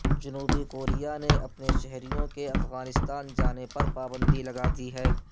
جنوبی کوریا نے اپنے شہریوں کے افغانستان جانے پر پابندی لگا دی ہے